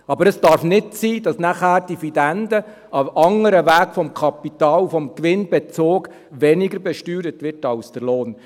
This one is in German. Aber es darf nicht sein, dass dann die Dividende, ein anderer Weg des Kapitals, des Gewinnbezugs, weniger besteuert wird als der Lohn.